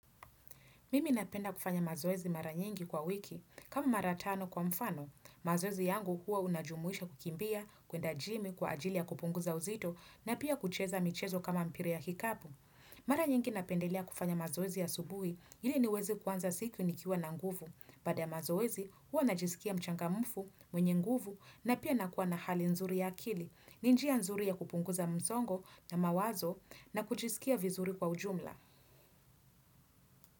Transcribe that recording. Mimi napenda kufanya mazoezi mara nyingi kwa wiki. Kama mara tano kwa mfano, mazoezi yangu huwa unajumuisha kukimbia, kuenda jimi kwa ajili ya kupunguza uzito na pia kucheza michezo kama mpira ya kikapu. Mara nyingi napendelea kufanya mazoezi asubuhi ili niweze kuanza siku nikiwa na nguvu. Baada ya mazoezi huwa najisikia mchangamfu, mwenye nguvu, na pia nakuwa na hali nzuri ya akili. Ni njia nzuri ya kupunguza msongo na mawazo na kujisikia vizuri kwa ujumla.